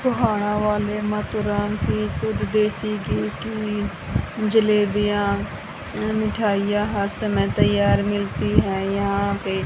गोहाना वाले माथु राम की शुद्ध देसी घी की जलेबियां मिठाइयां हर समय तैयार मिलती हैं यहां पे।